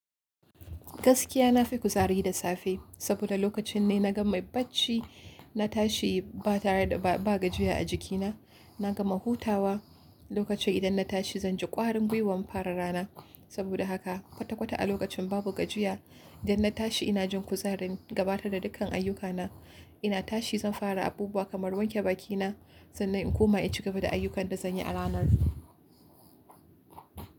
Gaskiya na fi kuzari da safe saboda lokacin ne na gama bacci na tashi ba tare da ba gajiya a jikina. Na gama hutawa lokacin idan na tashi zan ji ƙwarin gwiwan fara rana. Saboda haka kwata kwata a lokacin babu gajiya idan na tashi ina jin kuzarin gabatar da dukkan ayyuka na. Inna tashi zan fara abubuwa kamar wanke bakina sannan in koma in cigaba da ayyukan da zan yi a ranan.